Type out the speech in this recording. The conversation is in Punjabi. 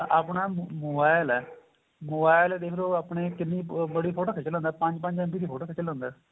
ਹੁਣ ਆਪਣਾ mobile ਏ mobile ਦੇਖਲੋ ਆਪਣੇਂ ਕਿੰਨੀ ਬੜੀ ਫ਼ੋਟੋ ਖਿੱਚ ਲੈਂਦਾ ਏ ਪੰਜ ਪੰਜ MB ਦੀ ਫ਼ੋਟੋ ਖਿੱਚ ਲੈਂਦਾ ਏ